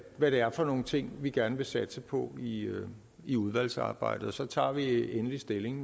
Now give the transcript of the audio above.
hvad det er for nogle ting vi gerne vil satse på i i udvalgsarbejdet og så tager vi endelig stilling